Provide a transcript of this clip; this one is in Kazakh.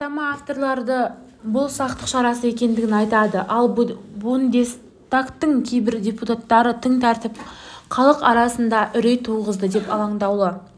бастама авторлары бұл сақтық шарасы екендігін айтады ал бундестагтың кейбір депутаттары тың тәртіп халық арасында үрей туғызады деп алаңдаулы